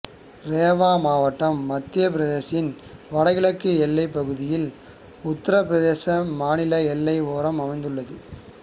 ரேவா மாவட்டம் மத்தியப் பிரதேசத்தின் வடகிழக்கு எல்லைப் பகுதியில் உத்தரப் பிரதேச மாநில எல்லை ஓரம் அமைந்துள்ளது